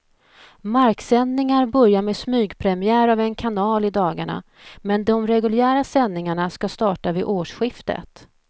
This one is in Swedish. Marksändningar börjar med smygpremiär av en kanal i dagarna, men de reguljära sändningarna ska starta vid årsskiftet.